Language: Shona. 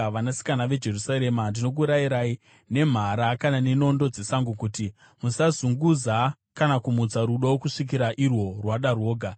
Vanasikana veJerusarema, ndinokurayirai nemhara kana nenondo dzesango kuti: Musazunguza kana kumutsa rudo kusvikira irwo rwada rwoga.